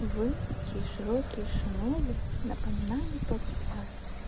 вы чьи широкие шинели напоминали паруса